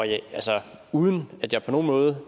altså uden at jeg på nogen måde